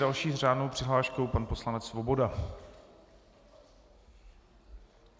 Další s řádnou přihláškou pan poslanec Svoboda.